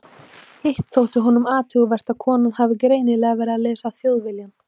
Hitt þótti honum athugavert að konan hafði greinilega verið að lesa Þjóðviljann.